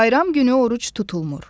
Bayram günü oruc tutulmur.